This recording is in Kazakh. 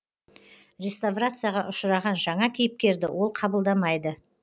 реставрацияға ұшыраған жаңа кейіпкерді ол қабылдамайды